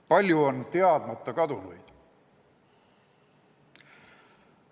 Palju on teadmata kadunuid.